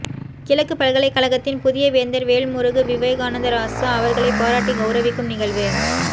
கிழக்கு பல்கலைகழகத்தின் புதிய வேந்தர் வேல்முருகு விவேகானந்தராசா அவர்களை பாராட்டி கௌரவிக்கும் நிகழ்வு